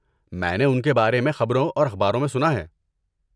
میں نے ان کے بارے میں خبروں اور اخباروں میں سنا ہے۔